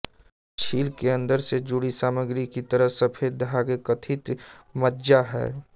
छील के अंदर से जुड़ी सामग्री की तरह सफेद धागे कथित मज्जा है